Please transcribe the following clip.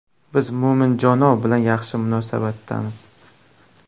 Biz Mo‘minjonov bilan yaxshi munosabatdamiz.